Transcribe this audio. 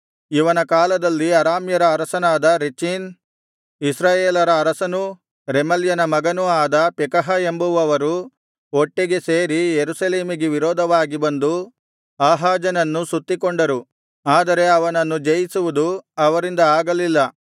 ಇವನ ಕಾಲದಲ್ಲಿ ಅರಾಮ್ಯರ ಅರಸನಾದ ರೆಚೀನ್ ಇಸ್ರಾಯೇಲರ ಅರಸನೂ ರೆಮಲ್ಯನ ಮಗನೂ ಆದ ಪೆಕಹ ಎಂಬುವವರು ಒಟ್ಟಿಗೆ ಸೇರಿ ಯೆರೂಸಲೇಮಿಗೆ ವಿರೋಧವಾಗಿ ಬಂದು ಆಹಾಜನನ್ನು ಸುತ್ತಿಕೊಂಡರು ಆದರೆ ಅವನನ್ನು ಜಯಿಸುವುದು ಅವರಿಂದ ಆಗಲಿಲ್ಲ